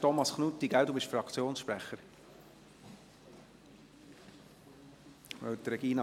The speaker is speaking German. Thomas Knutti, Sie sind Fraktionssprecher, oder?